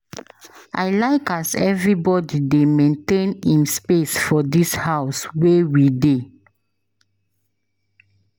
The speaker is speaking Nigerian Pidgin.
I like as everybodi dey maintain im space for dis house wey we dey.